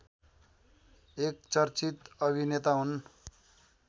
एक चर्चित अभिनेता हुन्